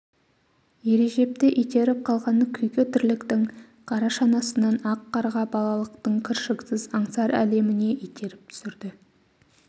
ережепті итеріп қалған күйкі тірліктің қара шанасынан ақ қарға балалықтың кіршіксіз аңсар әлеміне итеріп түсірді